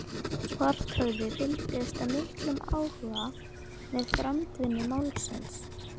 Svarthöfði fylgdist af miklum áhuga með framvindu málsins.